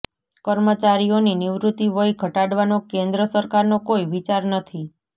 કર્મચારીઓની નિવૃત્તિ વય ઘટાડવાનો કેન્દ્ર સરકારનો કોઈ વિચાર નથી